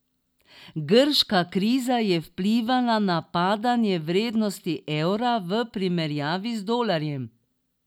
Grška kriza je vplivala na padanje vrednosti evra v primerjavi z dolarjem.